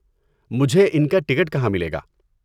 مجھے ان کا ٹکٹ کہاں ملے گا؟